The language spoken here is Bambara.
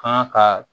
Kan ka